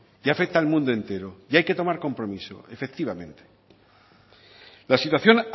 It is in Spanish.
y afecta al mundo entero y hay que tomar compromiso efectivamente la situación